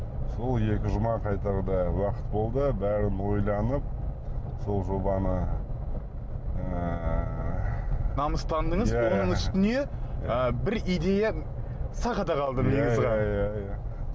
сол екі жұма қайтарда уақыт болды бәрін ойланып сол жобаны ыыы намыстандыңыз оның үстіне ы бір идея сақ ете қалды иә иә